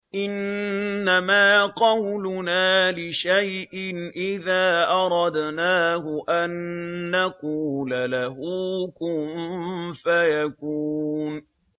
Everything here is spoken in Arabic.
إِنَّمَا قَوْلُنَا لِشَيْءٍ إِذَا أَرَدْنَاهُ أَن نَّقُولَ لَهُ كُن فَيَكُونُ